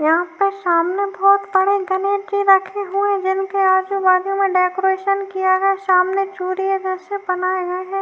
यहाँ पर सामने आपकी बहुत बड़े गणेश जी रखे हुए है जिनके आजु -बाजु में डेकोरेशन किया गया है सामने एक चुड़िए जैसे बनाए गए हैं।